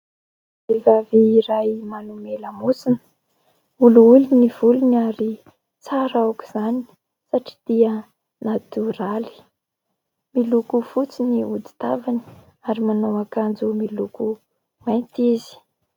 Vehivavy iray manome lamosina. Olioly ny volony ary tsara aoka izany satria dia "natoraly". Miloko fotsy ny hodi-tavany ary manao akanjo miloko mainty izy.